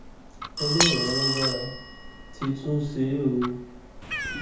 ọlọrun alágbára ti tún ṣe é o